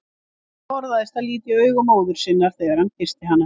Hann forðaðist að líta í augu móður sinnar þegar hann kyssti hana.